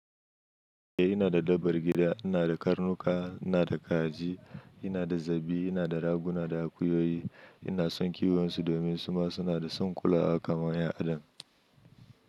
Eh ina da dabbar gida. Ina da karnuka, ina da kaji, ina da zabi, ina da raguna da akuyoyi. Ina son kiwon su domin suma suna da son kulawa kamar 'yan adam.